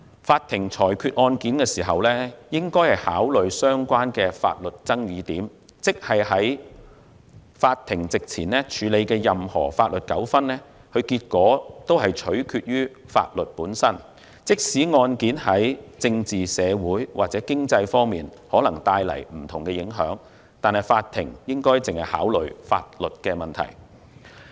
法庭裁決案件時，應考慮相關的法律爭議點，即在法庭席前處理的任何法律糾紛的結果，均取決於法律本身，即使案件在政治、社會或經濟方面可能帶來不同影響，但法庭只需考慮法律問題。